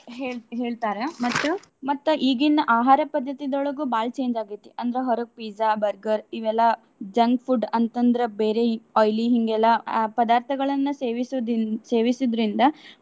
ಹೇಳಿ ಹೇಳ್ತಾರ. ಮತ್ತ ಮತ್ತ ಈಗಿನ ಆಹಾರ ಪದ್ದತಿದೊಳಗು ಬಾಳ್ change ಆಗೈತಿ. ಅಂದ್ರ ಹೊರಗ್ pizza, burger ಇವೆಲ್ಲಾ junk food ಅಂತ ಅಂದ್ರ ಬೇರೆ ಈ oily ಹಿಂಗೆಲ್ಲಾ ಆ ಪದಾರ್ಥಗಳನ್ನ ಸೇವಿಸುದಿ~ ಸೇವಿಸುದ್ರಿಂದ.